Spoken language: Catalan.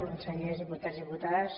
consellers diputats diputades